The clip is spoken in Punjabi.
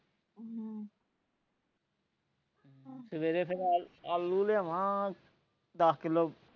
ਸਵੇਰੇ ਫੇਰ ਆਲੂ ਲਿਆਵਾਂ ਦੱਸ ਕਿਲੋ